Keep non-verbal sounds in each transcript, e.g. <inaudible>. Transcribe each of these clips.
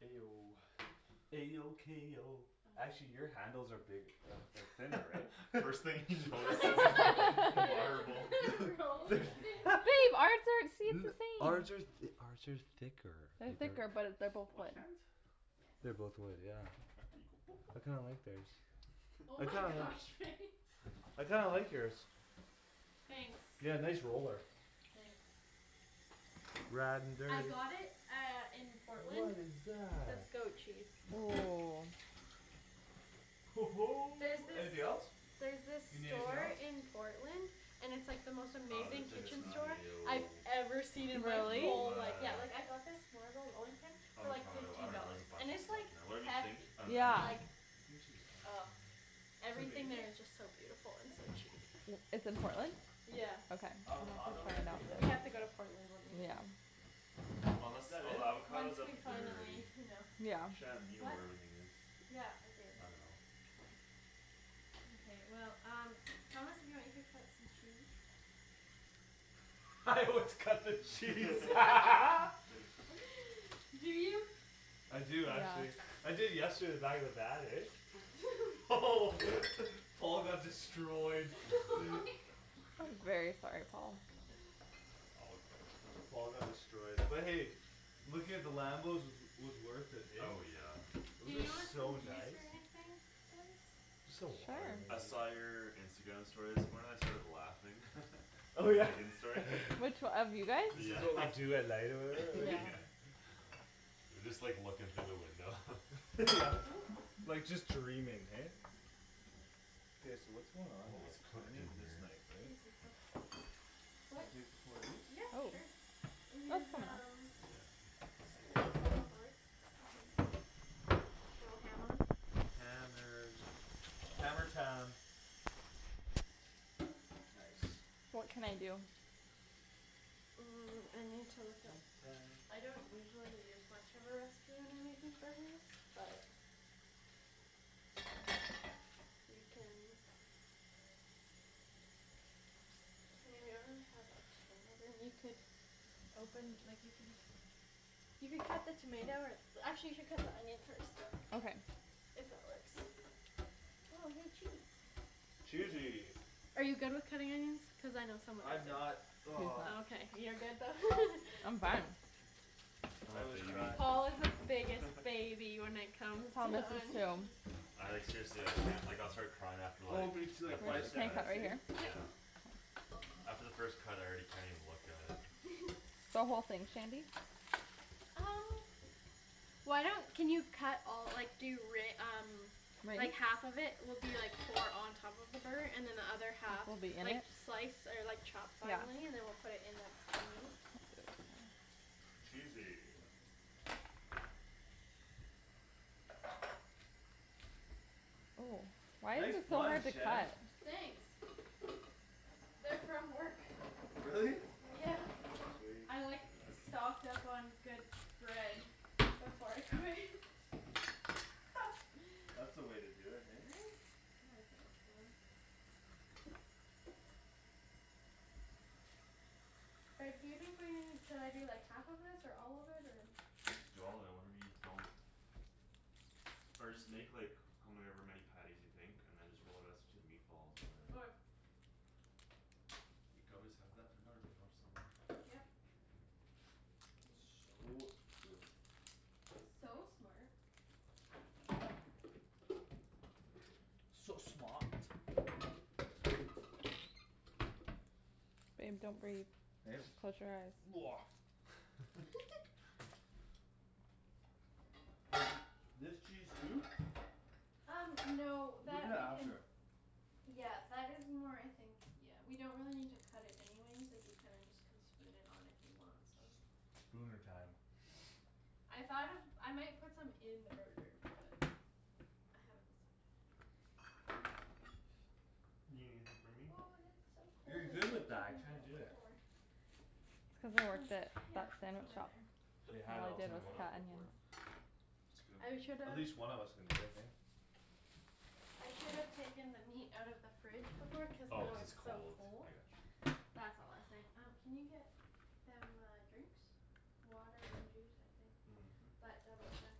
A O A O K O actually <noise> your handles are bigg- uh they're thinner, right? <laughs> First thing he notices is the marble <laughs> <laughs> Rolling rolling pin? pin. <laughs> But babe, our <inaudible> the <laughs> same! Ours are th- ours are thicker. They're Think our thicker but they're both Wash wood. hands? Yes. They're both wood, yeah. I kinda <noise> like theirs. Oh I my kind of gosh, Faye. <laughs> I kinda like yours. Thanks. Yeah, nice roller. Thanks. Ridin' I dirty. got it uh in What Portland. is That's that? goat cheese. <noise> There's Anything this else? There's this You need anything store else? in Portland And it's like the most Oh, amazing there's, I like, guess kitchen not. store I've tomato ever seen in my Really? whole Arugula life. Yeah, like, I got this marble rolling pin For like Avocado, I fifteen dunno, there's dollars, a and bunch of it's, stuff like, in there. Whatever you think hefty. Uh an Yeah. Like onion. I think she's all right over <noise> there. Everything Tomato? there is just so beautiful and so cheap. <noise> It's in Portland? Yeah. Okay, I'm gonna Avocado? go find Tomato? Yeah. We that then. have to No. go to Portland one Yeah. weekend. Is Unless, that oh, the it? avocado's Once up we there finally, already. you know. Yeah. Shan, you know What? where everything is. Yeah, I do. I dunno. Mkay, well, um Thomas if you want you could cut some cheese. <laughs> Let's cut the cheese. <laughs> <laughs> <laughs> <noise> Do you? I do actually. Yeah. I did yesterday in the back of the van, eh? <laughs> <laughs> Paul got <laughs> destroyed. <laughs> My <noise> gosh. I'm very sorry, Paul. All good. Paul got destroyed but hey, looking at the Lambos was, was worth it, hey? Oh, yeah. Do Those are you want some so juice nice. or anything, guys? Just some water Sure. I maybe. saw your Instagram story this morning; I started laughing. <laughs> The Megan story. <laughs> <laughs> Which o- of you guys? This is Yeah, what we <laughs> do at night or whatever? Oh Yeah. yeah. <laughs> <laughs> You're just, like, looking through the window. <laughs> Yeah, Oop like, just dreaming, hey? K, so what's going on What here? was So I cooked in need this here? knife, right? Can What? I take just one of these? Yep, Oh. sure. And Oh, it's here's fine there. um Yeah. Slowly. Here's a cutting board. You can go ham on. Hammers. Hammer time. Nice. What can I do? Mm, I need to look up Hammer time. I don't usually use much of a recipe when I'm making burgers, but You can I mean, we don't really have a ton <noise> of them. You could Open, like, you can You could cut the tomato or Actually, you should cut the onion first. Okay. If that works. Oh, hey, cheese. Cheesy! Are you good with cutting onions? Cuz I know some of us I'm aren't not. He's Oh, <noise> not. okay. You're good though. <laughs> I'm fine. I'm I a always baby. cry. Paul is the biggest <laughs> baby when it comes Thomas to is onions. too. <laughs> I, like, seriously I can't. Like I'll start crying after, Oh like, me too, the like We're five first just gonna cut. cut seconds, right hey? here? Yeah. Yep. After the first cut I already can't even look at it. <laughs> The whole thing, Shandy? Um Why don't, can you cut all, like, do re- um Like, <inaudible> half of it will be, like, for on top of the burger and then the other half Will be in Like, it? slice or, like, chop Yeah. Finely and then we'll put it in the, the meat. Cheesy. Oh, why is Nice this so buns, hard to Shan. cut? Thanks. They're from work. Really? Yeah. Sweet. I, like, stocked up on good bread Before I quit. <laughs> <laughs> That's the way to do it, <laughs> hey? Right? I think so. Reb, do you think we need, should I do, like, half of this or all of it or I'm just doing all of it and whatever we don't Or just make, like, however many patties you think and then just roll the rest into meatballs or Okay. whatever. You could always have that for another meal somewhere. Yep. <noise> So true. It's so smart. So smaht. Babe, don't breathe. Close your eyes. <noise> <laughs> <laughs> Do I do this cheese too? Um no We'll do that that we can after. Yeah, that is more, I think Yeah, we don't really need to cut it anyways. Like, you kinda just Can spoon it on if you want some. Spooner time. I thought of, I might put some in the burger but I haven't decided. You gonna leave some for me? Ooh, this is so cold. You're I good should've with that, I taken that can't out do it. before. Did It's you cuz I bring them? My, worked at yeah, that it's Oh. sandwich over shop. there. They And had it all all I <noise> the did time, Take was what eh? cut off of where? onions. It's good. I should've At least one of us can do it, hey? I should've taken the meat out of the fridge before cuz Oh, now cuz it's it's so cold, cold. I got you. That's all I was saying. Um can you get Them uh drinks? Water and juice, I think, Mhm. but double check.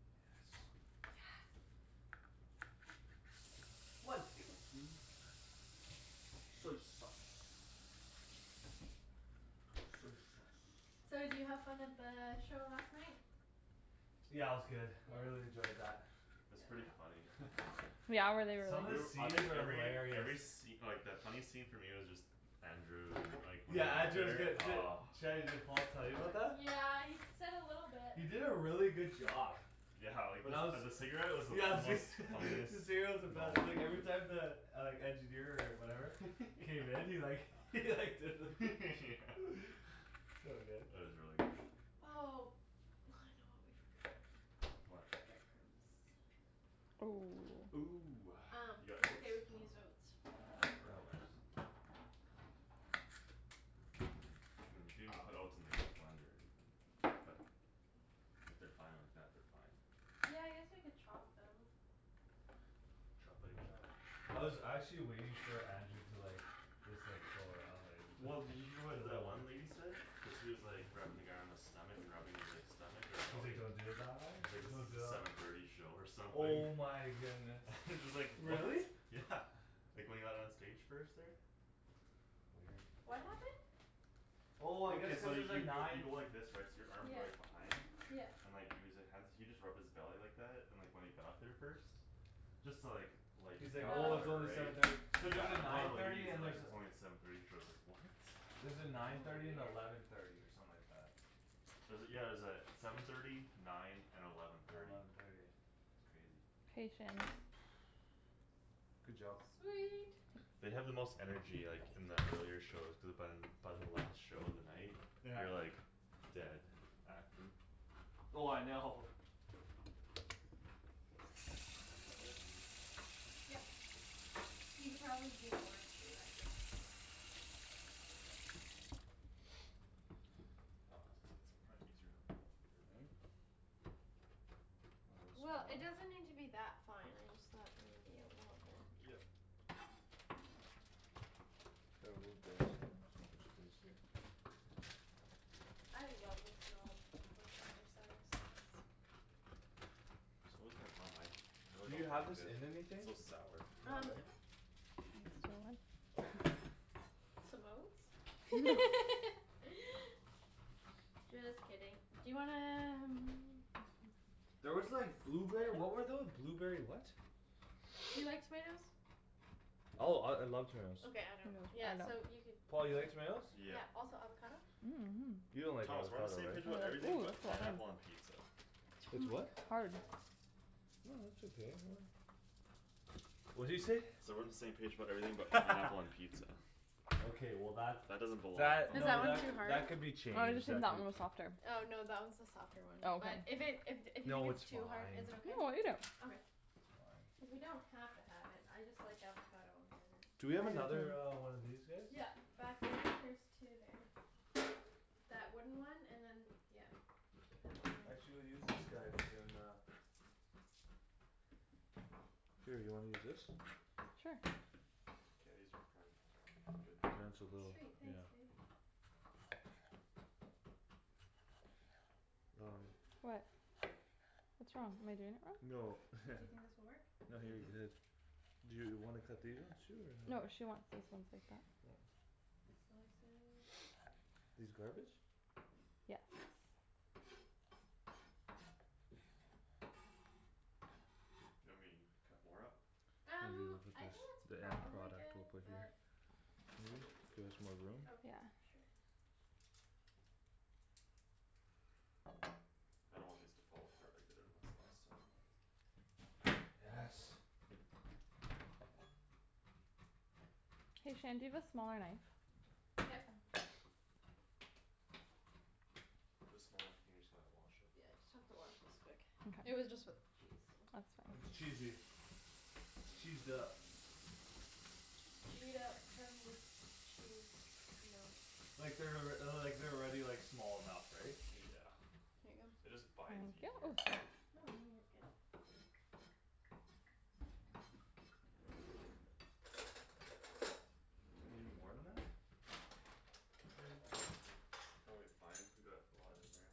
Yes. Yes. One tablespoon Soy sauce. Soy sauce. So did you have fun at the show last night? Yeah, it was good. I Yeah? really enjoyed that. It's Yep. pretty funny. <laughs> Yeah? Were they really Some of the good? <noise> I scenes think are every, every hilarious. sce- like, the funny scene for me was just Andrew and, like, Yeah, Andrew was whenever good. <inaudible> D- oh. Shanny, did Paul tell you about that? Yeah, he s- said a little bit. He did a really good job. Yeah, like, the When I was, s- uh yeah <laughs> the the cigarette cigarette was the most funniest was the moment best, like every time the Like engineer or whatever K, then he like <laughs> he like did the <laughs> <noise> So good. It was really good. Oh, I know what we forgot. What? Bread crumbs. Oh. Ooh, Um, you got that's okay oats? we can use oats. Oh, real That works. oats. Mm, you could even put Oh oats in, like, the blender even but if they're fine like that, they're fine. Yeah, I guess we could chop them. Choppity chop. I was actually waiting for Andrew to like Just like, go around, like Well, did you hear what the one <inaudible> lady said? Cuz he was, like, rubbing the guy on his stomach and rubbing his, like, stomach or He's like belly don't do the thigh? Like this Don't is do the the seven thirty show or something. Oh my goodness. <laughs> Just like, what? Really? Yeah, like when he got on stage first there. Weird. What happened? Oh I guess Okay, so cuz you there's a y- y- you nine go like this, right? So your arms are like Yeah. behind? Yeah. And like he was li- hands he just rubbed his belly like that and when he got up there first Just to, like, lighten the He's like, crowd or "Oh, Oh it's whatever, only right? seven thirty." Cuz there's a Yeah, and one of nine the thirty ladies and is like, there's a it's only seven thirty, she was like, "What?" There's a nine Oh thirty and weird. eleven thirty or something like that. Was it, yeah, it was uh seven thirty nine and eleven And thirty. eleven thirty. It's crazy. Patience. <noise> Good job. Sweet. They have the most energy, like, in the earlier shows cuz by By the last show of the night Yeah. you're, like Dead, acting. Oh I know. Let me do that and you can do something else? Yep. You could probably do more too, I just Aw, I was gonna say it's probably easier in a blender, <noise> right? A little It'll Well, get smaller? it smaller? doesn't need to be that fine, I just thought maybe a little bit. Yep. The Here I'll oat move bag's the oats coming somewhere else onto you'll my have more space space here. here. I love the smell of worcestershire sauce. So <inaudible> I Do really you don't like have this it. in It's anything? so sour. No, Um no. right? Oh. Some oats? <laughs> <laughs> Just kidding. Do you wanna um <noise> There was like Do you blueberry, what were know? tho- blueberry what? Do you like tomatoes? Oh, I, I love tomatoes. Okay, I don't. Yeah, No, I so don't. you could Paul, you like tomatoes? Yeah. Yeah, also avocado? <noise> You don't like Thomas we're on the avocado, same Or, page right? about everything ooh, that's but so pineapple hard. on pizza. T- oh With my gosh. what? Hard. No, it's okay. Really? What'd you say? Said we're on the same page about everything but pineapple on <laughs> pizza. Okay, well, that, That doesn't belong that, Is on that no, one that it. too c- hard? that could be Oh, I just changed think that that could be one was softer. Oh, no, that one's the softer one, Oh, but okay. If it, if d- if you think No, it's it's too hard, fine. is it okay? No, I'll eat it. Okay. It's fine. Cuz we don't have to have it. I just like avocado on burgers. Do we I do have another too. uh one of these guys? Yeah. Back there there's two there. That wooden one and then that d- yeah, that one there. Actually we'll use this guy cuz then uh Here, you wanna use this? Sure. K, these are probably good I'm doing so enough little. Sweet, ish. Yeah. thanks, babe. Um What? What's wrong? Am I doing it wrong? No Do you think this <laughs> will work? No, he already did Mhm. his. Do you wanna cut these ones too or no? No, she wants these ones like that. Oh. Slice it. These garbage? Yes. You want me to cut more up? I'm Um, gonna put I this, think that's the end probably product good we'll put here. but Can you I'll do move? a little bit Give more. us more room? Yeah. Okay, sure. I don't want these to fall apart like they did on us last time. Yes. Hey, Shan, do you have a smaller knife? Yep. There's a small one here, you just gonna wash it? Yeah, just have to wash this quick. It Mkay. was just with <noise> cheese, so. That's It's fine. cheesy. It's cheesed up. Gee it up from the Chee Like they're alrea- uh the, like, they're already like, small enough, right? Yeah. Here you go. It just binds easier. <noise> No, no, you're good. You need more than that? <noise> Probably fine cuz we got a lot in there.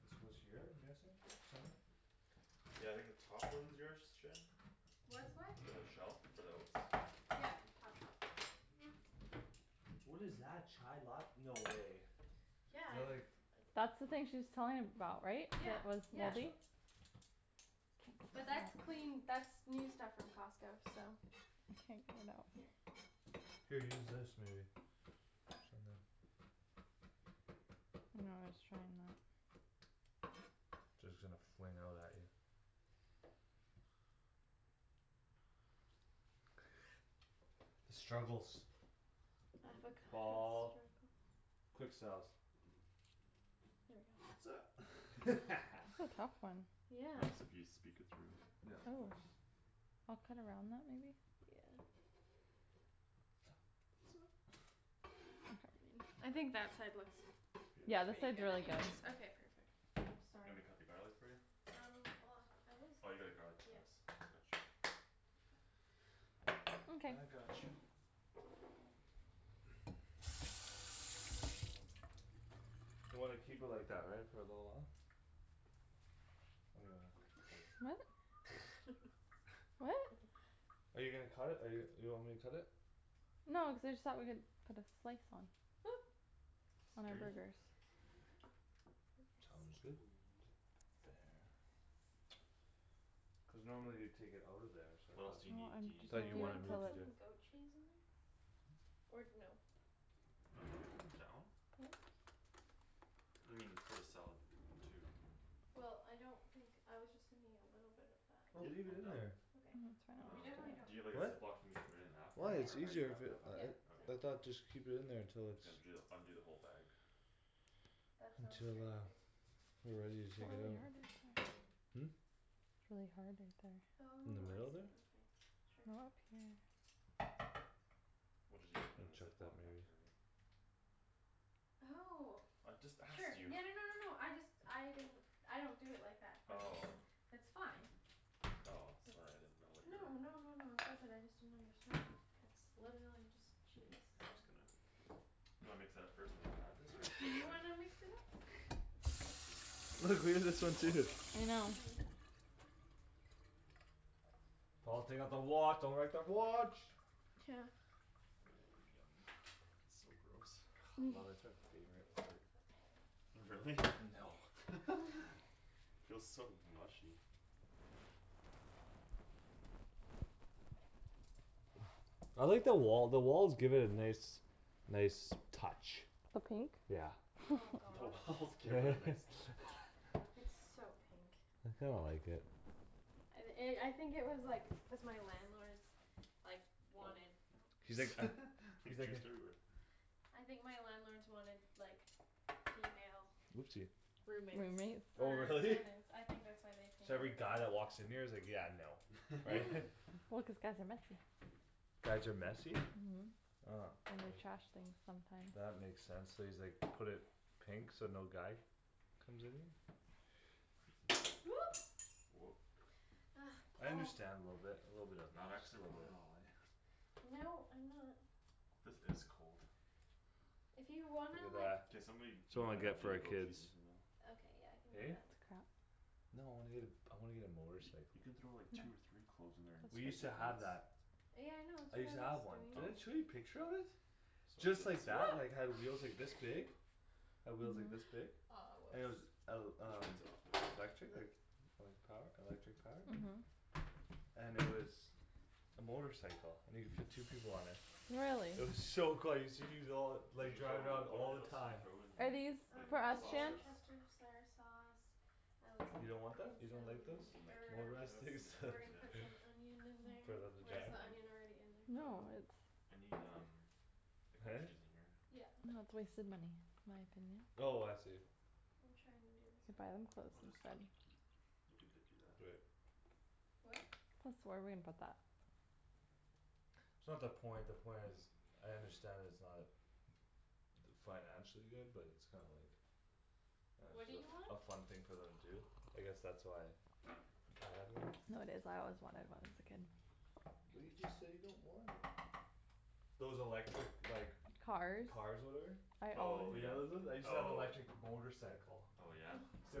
This goes here? I'm guessing? Somewhere? Yeah, I think the top one's yours, Shan? What's what? The shelf for the oats? Yep. Top shelf. What is that? Chai lat- no way. They're Yeah like That's the thing she was telling about, right? Yeah, That was yeah. Which moldy? But <noise> that's clean, that's new stuff from Costco, so. I can't get it out. Here. Here, use this maybe. Or something. No, I was trying that. Just gonna fling out at you. <noise> The struggles. Avocado Paul. struggles. Quick selves. <laughs> <laughs> That's a tough one. Yeah. Helps if you speak it through. Yeah, of Oh, course. I'll cut around that maybe. Yeah. <noise> Okay. I think that side looks It's Yeah, beautiful. this pretty side's good really good. anyways. Okay, perfect. Oops, You sorry. want me to cut the garlic for you? Um well, I was, Oh, you got a garlic yeah. press. Gotcha. Mkay. I got you. You wanna keep it like that, right? For a little while? Or do you wanna cut it? What? <laughs> I <laughs> What? dunno. Are you gonna cut it? Or you, you want me to cut it? No, I just thought we could put this slice on. Oop. On our Scare you? Hey burgers. I Tom guess. is good. T- <inaudible> Cuz normally you'd take it out of there so I What else thought, Well, do you need, do I'm you I need, just thought telling like Do you you you wanna wanted to me put kill to it. <inaudible> do some goat cheese in there? Or no? I'm down. I mean, it's for the salad too. Well, I don't think, I was just thinking a little bit of that. Oh, Yep, leave it I'm in down. there. I Okay. mean, it's fine We I'll Um, definitely don't just do it. do you have, like, a What? Ziploc for me to put it in after? Why? Or It's how do you easier wrap if Yep. it it up uh after? it Yep. Okay. I So cool. thought just keep it in there I'm until just it's gonna ju the, undo the whole bag. That sounds Until great, uh babe. We're ready to It's really take it hard out. right there. Hmm? It's really hard right there. In the Oh, I middle see, there? okay, sure. Okay. We'll, just use it from And the chuck Ziploc that maybe. after, right? Oh I just sure, asked you. <laughs> yeah, no no no no, I just, I didn't I don't do it like that but it's Oh. That's fine. Oh, sorry I didn't know It's what no your no no no no, it's all good. I just didn't understand; it's literally just K, cheese, I'm so. just gonna. You wanna mix that up first then I'll add this or just Do right you away? wanna <laughs> mix it up? <laughs> <noise> Babe, have to take my Look, watch, we do can the you take same my too. watch off? My I hands know. are Oh, yeah. dirty. Paul, take off the wa- don't wreck the watch. <noise> Oh, yummy. So gross. Love i- <noise> it's my favorite part. Really? No. <laughs> <laughs> Feels so mushy. I like the wall, the walls give it a nice Nice touch. The pink? Yeah. Oh <laughs> <laughs> The gosh. walls give it a nice touch. <laughs> It's so pink. I kinda like it. And i- I think it was, like, cuz my landlords Like, Oh. wanted, oh He's like <laughs> <noise> He's He's like a juiced everywhere. I think my landlords wanted, like, female Oopsie Roommates. Roommate? Oh Or really? tenants. I think that's why they painted So every it guy that pink. walks in here is like, "Yeah, no." Right? <laughs> <laughs> <laughs> Well, cuz guys are messy. Guys are messy? Mhm, and they trash <noise> things sometimes. That makes sense; so he's, like, put it Pink? So no guy comes in here? Oop. Whoop. Ugh, I Paul. understand a little bit, a little bit of Not it, just a accident little prone at bit. all, eh? No, I'm not. This is cold. If you Look wanna, at like that. K, somebody, you Someone might get have it to for do the our goat kids. cheese in here though. Okay, yeah, I can do Eh? that. No, I wanna get a, I wanna get a Y- motorcycle. you can throw, like, No. two or three cloves in there and We used squeeze That's to at <inaudible> have once. that. Yeah, I know, it's I what I used to was have one. doing. Did Oh. I show you a picture of it? Sorry, Just didn't like see. that, <noise> like, had wheels, like, this big. <laughs> Had wheels like this No. Aw, big. And it was oops. el- We should rinse it off, um like, - right now. lectric? Okay Like, like, power, electric powered? Mhm. And it was a motorcycle and you could fit two people on it. Really? It was so cool I used to use it all, Did like, you throw, drive it around what all did, the else did you time. throw in Are here? these Like for Um us, the Shan? sausage worcestershire sauce. I was You gonna don't want put that? in You don't like those? some You mean like herbs. Motorized ketchup things and <laughs> We're herbs, gonna yeah. put some onion in For there them to or is drive? the onion already in there? Uh, No, nope, it's I need um The goat Huh? cheese in here. Yeah. No, it's a waste of money, Anthony. Oh I see. I'm trying to do this You buy them garlic. clothes We'll just instead. We could dip you that. Do it. What? This, where are we gonna put that? It's not the point; the point is I understand it's not d- Financially good but it's kinda like Uh What do you just want? a f- a fun thing for them to do. I guess that's why I had one. No, it is, I always wanted one as a kid. But you just said you don't want it. Those electric, like Cars. Cars whatever? I Oh, alw- You yeah, know those ones? I used to have oh. electric motorcycle. Oh, yeah? <laughs> Used to